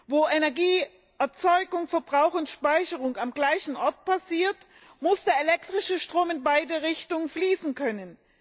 Wo Energieerzeugung, verbrauch und speicherung am gleichen Ort passieren, muss der elektrische Strom in beide Richtungen fließen können.